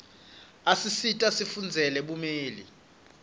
isisita sifundzele bumeli